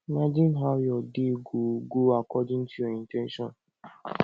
imagine how your day go go according to your in ten tion